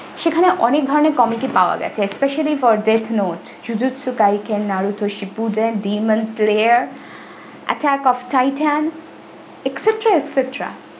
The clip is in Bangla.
সেখানে অনেক ধরণের comic ই পাওয়া গেছে specially fordeknotsuzutsu skaiken naruto sipuje demon player akasto titan etcetra etcetra ।